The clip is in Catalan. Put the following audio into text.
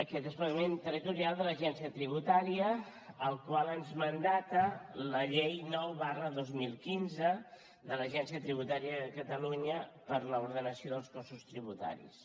aquest desplegament territorial de l’agència tributària el qual ens mana la llei nou dos mil quinze de l’agència tributària de catalunya per a l’ordenació dels cossos tributaris